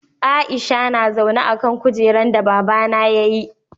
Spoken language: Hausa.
Aisha na zaune a'kan kujeran da baba na ya yi.